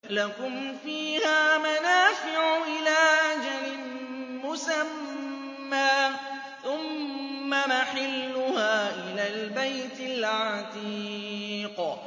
لَكُمْ فِيهَا مَنَافِعُ إِلَىٰ أَجَلٍ مُّسَمًّى ثُمَّ مَحِلُّهَا إِلَى الْبَيْتِ الْعَتِيقِ